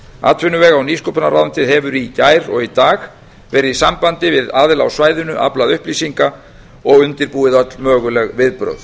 atvinnuvega og nýsköpunarráðuneytið hefur í gær og í dag verið í sambandi við aðila á svæðinu aflað upplýsinga og undirbúið öll möguleg viðbrögð